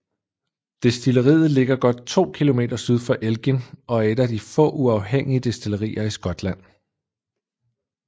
Destilleriet ligger godt 2 km syd for Elgin og er et af de få uafhængige destillerier i Skotland